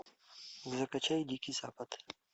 закачай дикий запад